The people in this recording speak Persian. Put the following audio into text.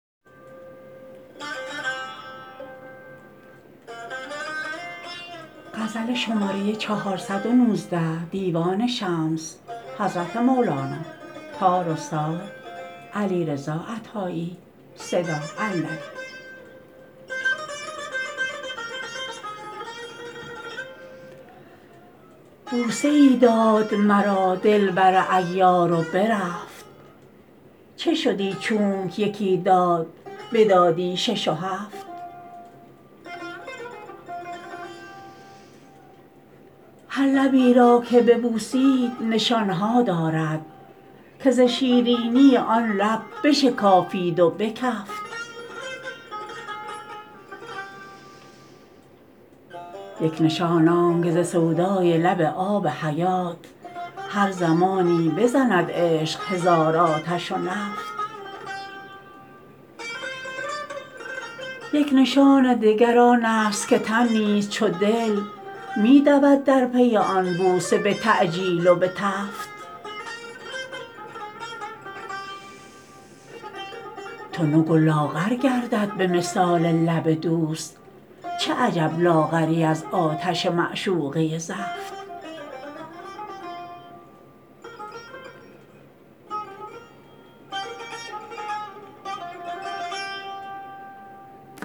بوسه ای داد مرا دلبر عیار و برفت چه شدی چونک یکی داد بدادی شش و هفت هر لبی را که ببوسید نشان ها دارد که ز شیرینی آن لب بشکافید و بکفت یک نشان آنک ز سودای لب آب حیات هر زمانی بزند عشق هزار آتش و نفت یک نشان دگر آن است که تن نیز چو دل می دود در پی آن بوسه به تعجیل و به تفت تنگ و لاغر گردد به مثال لب دوست چه عجب لاغری از آتش معشوقه زفت